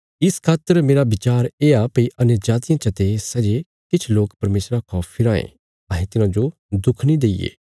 इस खातर मेरा बचार येआ भई अन्यजातियां चते सै जे किछ लोक परमेशरा खा फिराँ ये अहें तिन्हांजो दुख नीं दईये